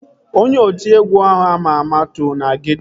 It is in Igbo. Onye otiegwu ahụ ama ama too na geeto